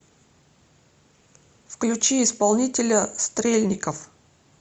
включи исполнителя стрельников